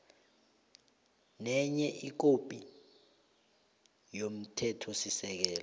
nenye ikhophi yomthethosisekelo